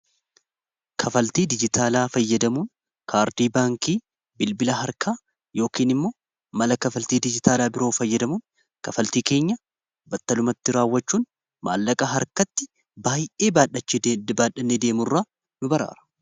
Kaffaltii dijitaalaa fayyadamuun kaardii baankii bilbila harkaa yookiin immoo mala kafaltii dijitaalaa biroo fayyadamuun kafaltii keenya battalumatti raawwachuun maallaqa harkatti baay'ee baadhachii dibaadhanni deemu irraa nu baraara.